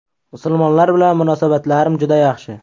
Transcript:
Musulmonlar bilan munosabatlarim juda yaxshi.